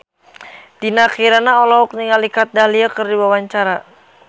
Dinda Kirana olohok ningali Kat Dahlia keur diwawancara